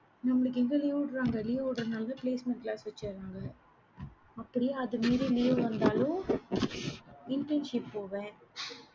நம்மளுக்கு எங்க leave விடுறாங்க, leave விடுற நாள்தான், placement class வைச்சிடுறாங்க. அப்படியே, அதை மீறி leave வந்தாலும் internship போவேன்